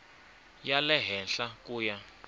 ya le henhla ku ya